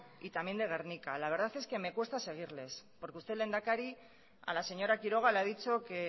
y también de gernika la verdad es que me cuesta seguirles porque usted lehendakari a la señora quiroga le ha dicho que